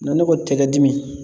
Na ne ko tɛgɛ dimi